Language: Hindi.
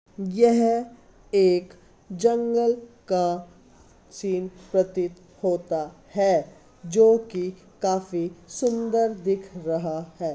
यह एक जंगल का सीन प्रतीत होता है जो कि काफी सुंदर दिख रहा है।